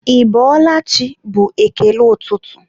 ị bọọla chi? bụ ekele ụtụtụ